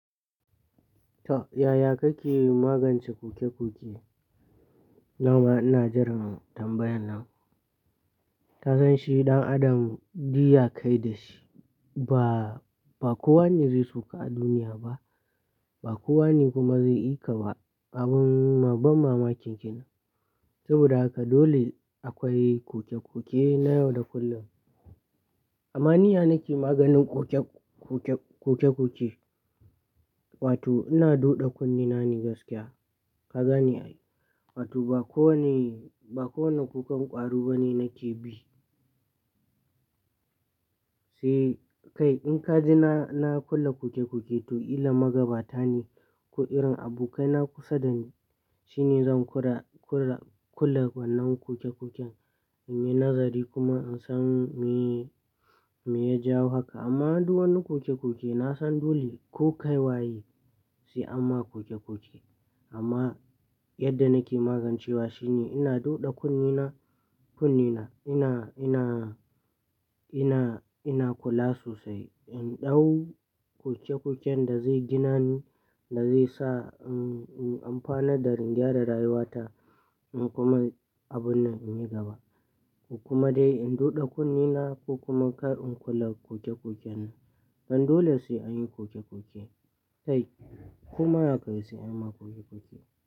Yaya kake magance kuke-kuke? Dama ina jiran tambayar nan. Ta san shi ɗan adam duk ya kayi da shi, ba, ba kowane zai shuka a duniya ba, ba kowane kuma zai ƙi ka ba abun ban mamaki kenan. Saboda haka dole akwai kuke-kuke na yau da kullum. Amma ni ya nake maganin kuke, kuke, kuke-kuke, wato ina duɗe kunne na ne gaskiya. Kaga ni ai, wato ba kowane, ba kowane kukan ƙwaro bane nake bi. Sai kai in ka ji na, na kula kuke-kuke to ƙilla magabata ne ko irin abokai na kusa dani shine zan kula, kula, kula wannan kuke-kuken in yi nazari kuma in san me, me ya jawo haka. Amma duk wani kuke-kuke na san dole ko kai waye sai amma kuke-kuke. Amma yadda nake magancewa shine ina duɗe kunne na, kunne na, ina, ina, ina, ina kula sosai. In dau kuke-kuken da zai gina ni, da zai sa, um, um, amfana da in gyara rayuwa ta in kuma abun nan in yi gaba. Kuma dai in duɗe kunne na ko kuma kar in kula kuke-kuken nan. Dan dole sai anyi kuke-kuke. Kai koma yakayi sai anyi kuke-kuke.